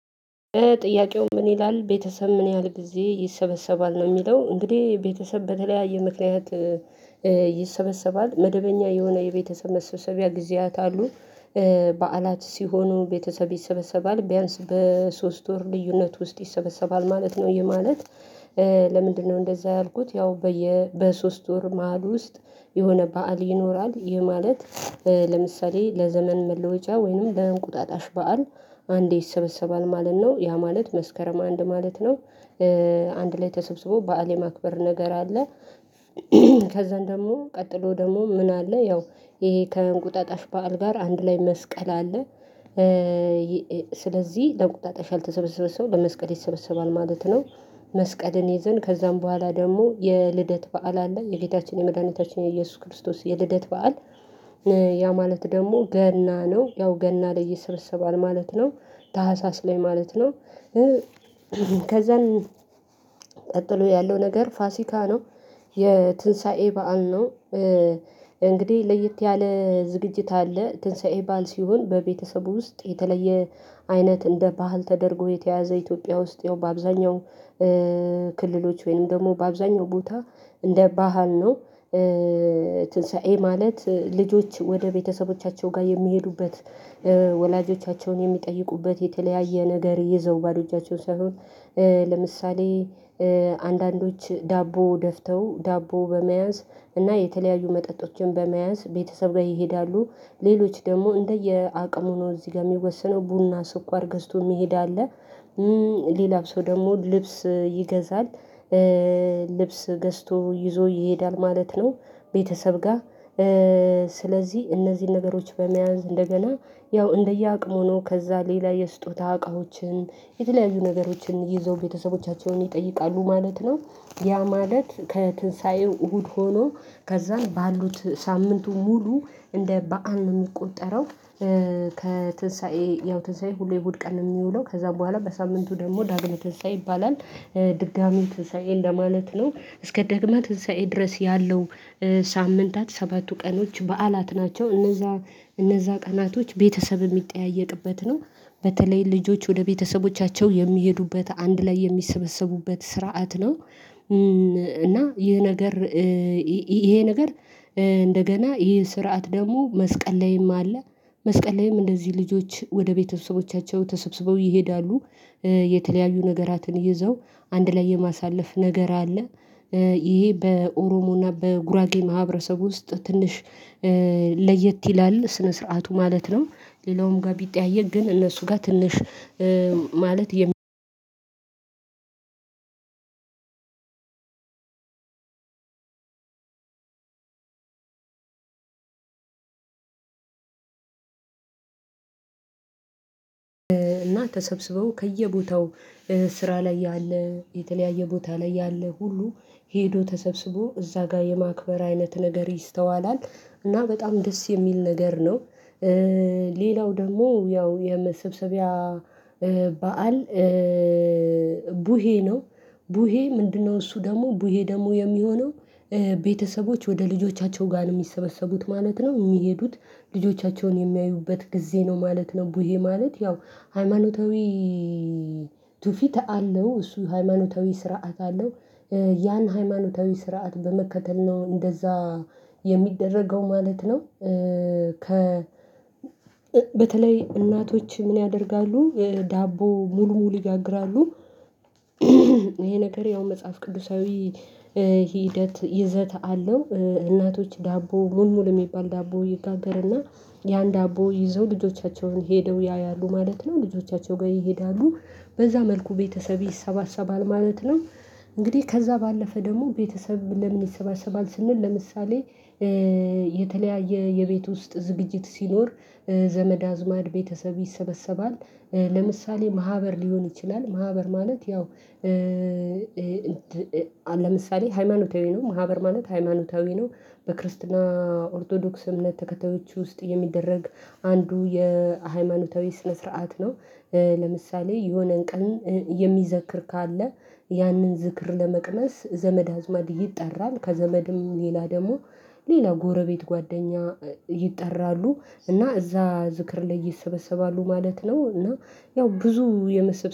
ጥያቄው ምን ይላል? ቤተሰብ ምን ያህል ጊዜ ይሰበሰባል ነው እሚለው እንግዲህ ቤተሰብ በተለያየ ምክንያት ይሰበሰባል መደበኛ የሆነ የቤተሰብ መሰብሰቢያ ጊዜያት አሉ። በዓላት ሲሆኑ ቤተሰብ ይሰበሰባል ቢያንስ በሶስት ወር ልዩነት ውስጥ ይሰበሰባል ማለት ነው ይህ ማለት። ለምንድነው እንደዛ ያልኩት? ያው በየ በሶስት ወር መሃል ውስጥ የሆነ በዓል ይኖራል። ይሄ ማለት ለምሳሌ ለዘመን መለወጫ ወይንም ለእንቁጣጣሽ በዓል አንዴ ይሰበሰባል ማለት ነው ያ ማለት መስከረም አንድ ማለት ነው። አንድ ላይ ተሰብስቦ በዓል የማክበር ነገር አለ። ከዛን ደግሞ ቀጥሎ ደግሞ ምን አለ? ያው ይሄ ከእንቁጠጣሽ በዓል ጋር አንድ ላይ መስቀል አለ። ስለዚህ ለቁጣጣሽ ያልተሰበሰበ ሰው በመስቀል ይሰበሰባል ማለት ነው። መስቀልን ይዘን ከዛም በኋላ ደግሞ የልደት በዓል አለ የጌታችን የመድኃኒታችን የኢየሱስ ክርስቶስ የልደት በዓል። ያ ማለት ደሞ ገና ነው ያው ገና ላይ ይሰበሰባል ማለት ነው። ታህሳስ ላይ ማለት ነው። ከዛን ቀጥሎ ያለው ነገር ፋሲካ ነው። የትንሳኤ በዓል ነው። እንግዲህ ለየት ያለ ዝግጅት አለ ትንሳኤ በዓል ሲሆን በቤተሰቡ ውስጥ የተለየ አይነት እንደ ባህል ተደርጎ የተያዘ ኢትዮጵያ ውስጥ ያው በአብዛኛው ክልሎች ወይንም ደግሞ በአብዛኛው ቦታ እንደ ባህል ነው። ትንሳኤ ማለት ልጆች ወደ ቤተሰቦቻቸው ጋ የሚሄዱበት ወላጆቻቸውን የሚጠይቁበት የተለያየ ነገር ይዘው ባዶ እጃቸውን ሳይሆን ለምሳሌ አንዳንዶች ዳቦ ደፍተው ዳቦ በመያዝ እና የተለያዩ መጠጦችን በመያዝ ቤተሰብ ላይ ይሄዳሉ። ሌሎች ደግሞ እንደየ አቅም ሆኖ እዚህ ጋር እሚወሰነው ቡና ስኳር ገዝቶ የሚሄድ አለ። ሌላው ሰው ደሞ ልብስ ይገዛል። ልብስ ገዝቶ ይዞ ይሄዳል ማለት ነው። ቤተሰብ ጋ ስለዚህ እነዚህን ነገሮች በመያዝ እንደገና ያው እንደየአቅሙ ሆኖ ከዛ ሌላ የስጦታ እቃዎችን የተለያዙ ነገሮችን ይዘው ቤተሰቦቻቸውን ይጠይቃሉ ማለት ነው። ያ ማለት ትንሳኤው እሁድ ሆኖ ከዛም ባሉት ሳምንቱ ሙሉ እንደ በዓል ነው እሚቆጠረው። ከትንሳኤ ያው ትንሳኤ ሁሌ እሁድ ቀን እሚውለው ከዛ በኋላ በሳምንቱ ደግሞ ዳግሚያ ትንሳኤ ይባላል። ድጋሚ ትንሳኤ እንደማለት ነው እስከ ደግሚያ ትንሳኤ ድረስ ያለው ሳምንታት ሰባቱ ቀኖች በዓላት ናቸው። እነዛ እነዛ ቀናቶች ቤተሰብ እሚጠያየቅበት ነው። በተለይ ልጆች ወደ ቤተሰቦቻቸው የሚሄዱበት አንድ ላይ የሚሰበሰቡበት ስርዓት ነው። እና ይህ ነገር ይሄ ነገር እንደገና ይሄ ስርዓት ደግሞ መስቀል ላይም አለ። መስቀል ላይም እንደዚህ ልጆች ወደ ቤተሰቦቻቸው ተሰብስበው ይሄዳሉ። የተለያዩ ነገራትን ይዘው አንድ ላይ የማሳለፍ ነገር አለ። ይሄ በኦሮሞና በጉራጌ ማህበረሰብ ውስጥ ትንሽ ለየት ይላል ስነ ስርዓቱ ማለት ነው። ሌላውም ጋ ቢጠያየቅ ግን እነሱ ጋ ትንሽ ማለት እና ተሰብስበው ከየቦታው ስራ ላይ ያለ የተለያየ ቦታ ላይ ያለ ሁሉ ሂዶ ተሰብስቦ እዛ ጋ የማክበር አይነት ነገር ይስተዋላል። እና በጣም ደስ የሚል ነገር ነው። ሌላው ደግሞ ያው የመሰብሰቢያ በዓል። ቡሄ ነው። ቡሄ ምንድነው? እሱ ደግሞ ቡሄ ደግሞ የሚሆነው ቤተሰቦች ወደ ልጆቻቸው ጋ ነው እሚሰበሰቡት ማለት ነው እሚሄዱት። ልጆቻቸውን የሚያዩበት ጊዜ ነው ማለት ነው። ቡሄ ማለት ያው ሃይማኖታዊ ቱፊት አለው እሱ ሃይማኖታዊ ስርዓት አለው። ያን ሃይማኖታዊ ስርዓት በመከተል ነው እንደዛ የሚደረገው ማለት ነው። ከ በተለይ እናቶች ምን ያደርጋሉ ዳቦ ሙል ሙል ይጋግራሉ። ይሄ ነገር ያው መጽሐፍ ቅዱሳዊ ሂደት ይዘት አለው እናቶች ዳቦ ሙል ሙል እሚባል ዳቦ ይጋገርና ያን ዳቦ ይዘው ልጆቻቸውን ሄደው ያያሉ ማለት ነው ልጆቻቸው ጋ ይሄዳሉ። በዛ መልኩ ቤተሰብ ይሰባሰባል ማለት ነው። እንግዲህ ከዛ ባለፈ ደሞ ቤተሰብ ለምን ይሰባሰባል ስንል? ለምሳሌ የተለያየ የቤት ውስጥ ዝግጅት ሲኖር ዘመድ አዝማድ ቤተሰብ ይሰበሰባል። ለምሳሌ ማህበር ሊሆን ይችላል ማህበር ማለት ያው ለምሳሌ ሃይማኖታዊ ነው ማህበር ማለት ሃይማኖታዊ ነው። በክርስትና ኦርቶዶክስ እምነት ተከታዮች ውስጥ የሚደረግ አንዱ የሃይማኖታዊ ስነ ስርዓት ነው። ለምሳሌ የሆነን ቀን የሚዘክር ካለ ያንን ዝክር ለመቅመስ ዘመድ አዝማድ ይጠራል። ከዘመድም ሌላ ደግሞ ሌላ ጎረቤት ጓደኛ ይጠራሉ እና እዛ ዝክር ላይ ይሰበሰባሉ ማለት ነው። እና ያው ብዙ የመሰብ